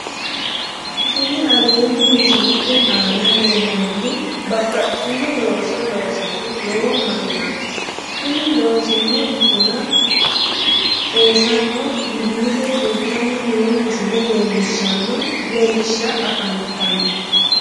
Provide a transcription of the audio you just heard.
Kini aleenni misilete aana leellannohu babbaxxino looso loosanni noo mannaati kuni loosino buna xeensanna wiliile fultanni noo misile leellishsha afantanno